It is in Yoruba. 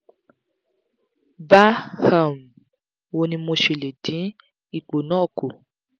ba um wo ni mo se le din ipo na ku